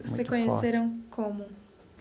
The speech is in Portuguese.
E vocês se conheceram como?